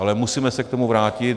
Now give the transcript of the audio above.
Ale musíme se k tomu vrátit.